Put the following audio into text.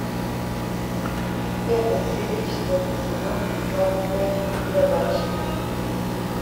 пятая серия четвертый сезон маленькая барабанщица